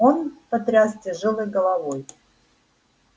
он потряс тяжёлой головой